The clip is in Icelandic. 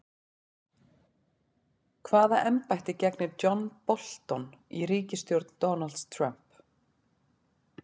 Hvaða embætti gegnir John Bolton í ríkisstjórn Donalds Trump?